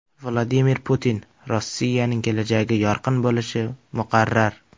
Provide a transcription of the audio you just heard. Vladimir Putin: Rossiyaning kelajagi yorqin bo‘lishi muqarrar .